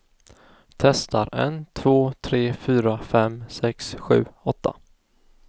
Testar en två tre fyra fem sex sju åtta.